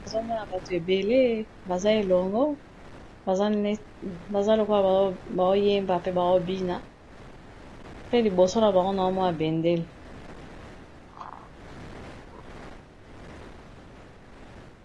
Nazomona bato ebele baza elongo baza lokola baoyemba pe baobina pe liboso na bango nao mona bendele.